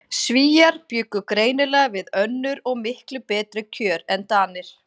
Svíar bjuggu greinilega við önnur og miklu betri kjör en Danir.